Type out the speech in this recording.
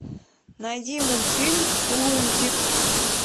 найди мультфильм лунтик